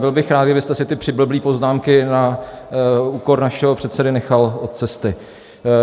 Byl bych rád, kdybyste si ty přiblblé poznámky na úkor našeho předsedy nechal od cesty.